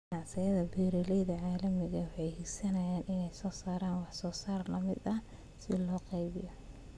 Ganacsiyada beeralayda caalamiga ahi waxa ay hiigsanayaan in ay soo saaraan wax soo saar la mid ah si loo qaybiyo.